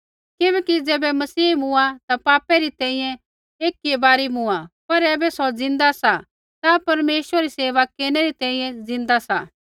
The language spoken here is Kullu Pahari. किबैकि ज़ैबै मसीह मूँआ ता पापा री तैंईंयैं एकियै बारी मूँआ पर ऐबै सौ ज़िन्दा सा ता परमेश्वरा री सेवा केरनै री तैंईंयैं ज़िन्दा सा